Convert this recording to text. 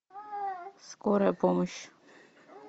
скорая помощь